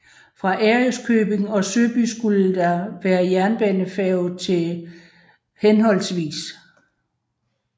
Fra Ærøskøbing og Søby skulle der være jernbanefærge til hhv